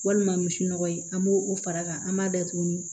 Walima misi nɔgɔ ye an b'o o fara a kan an b'a datugu